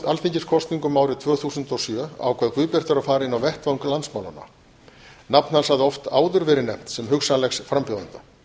alþingiskosningum árið tvö þúsund og sjö ákvað guðbjartur að fara inn á vettvang landsmálanna nafn hans hafði oft áður verið nefnt sem hugsanlegs frambjóðanda